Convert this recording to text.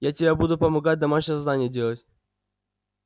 я тебе буду помогать домашнее задание делать